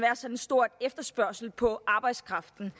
en stor efterspørgsel på arbejdskraften